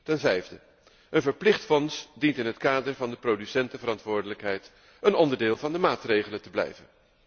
Ten vijfde, een verplicht fonds dient in het kader van de producentenverantwoordelijkheid een onderdeel van de maatregelen te blijven.